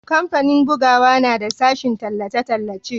kamfanin bugawa na da sashen tallace-tallace